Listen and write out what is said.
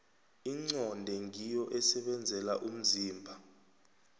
inqonde ngiyo esebenzela umzimba